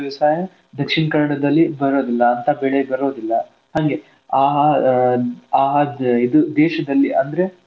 ವ್ಯವಸಾಯ Dakshina Kannada ದಲ್ಲಿ ಬರೋದಿಲ್ಲ ಅಂತಾ ಬೆಳೆ ಬರೋದಿಲ್ಲ ಹಂಗೆ ಆ ಆ ಇದು ದೇಶದಲ್ಲಿ ಅಂದ್ರೆ